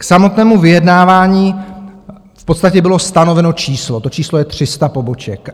K samotnému vyjednávání v podstatě bylo stanoveno číslo, to číslo je 300 poboček.